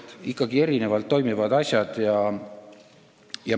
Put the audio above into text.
Need on ikkagi erinevalt toimivad asjad.